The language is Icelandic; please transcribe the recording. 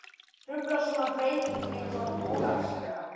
Truflar svona breyting eitthvað móralslega?